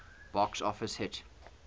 box office hit